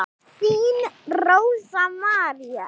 Þín Rósa María.